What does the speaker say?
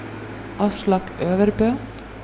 Aslak Øvrebø